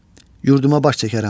Yurduma baş çəkərəm.